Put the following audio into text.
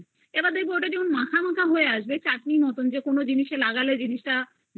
এইবার তুমি দেখবে ওটা মাখা মাখা হয় আসবে যে জিনিস তা লাগালে